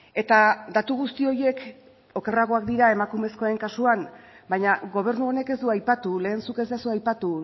eta datu guzti horiek okerragoak dira emakumezkoen kasuan baina gobernu honek ez du aipatu lehen zuk ez duzu aipatu